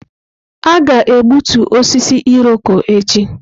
Aga-egbutu osisi Irọko echi.